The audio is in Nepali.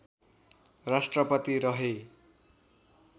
राष्ट्रपति रहे